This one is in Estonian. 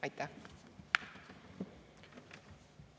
Aitäh!